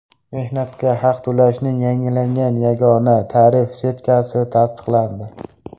Mehnatga haq to‘lashning yangilangan yagona tarif setkasi tasdiqlandi.